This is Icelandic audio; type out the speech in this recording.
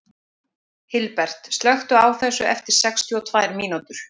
Hilbert, slökktu á þessu eftir sextíu og tvær mínútur.